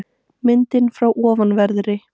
Myndin frá ofanverðri